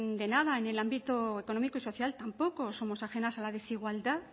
de nada en el ámbito económico y social tampoco somos ajenas a la desigualdad